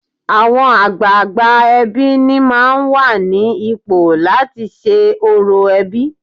Àwọn àgbààgbà ẹbí ni máà ń wà ní ipò láti ṣe orò ẹbí.